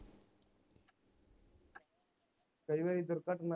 ਕਈ ਵਾਰੀ ਦੁਰਘਟਨਾ